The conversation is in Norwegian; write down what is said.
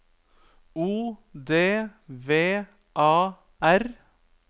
O D V A R